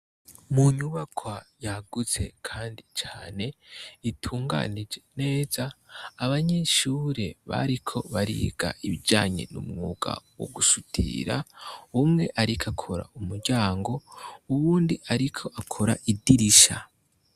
Mu nyubakwa yagutse kandi cane, itunganije neza ,abanyeshure bariko bariga ibijanye n' umwuga wo gusudira , umwe ariko akora umuryango, uwundi ariko akora idirisha.